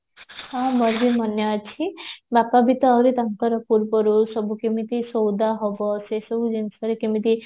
ହଁ ମୋର ବି ମାନେ ଅଛି ବାପା ବି ତ ଆହୁରି ତାଙ୍କର ପୂର୍ବରୁ ସବୁ ସଉଦା ହବ ସେସବୁ ଜିନିଷରେ କେମିତି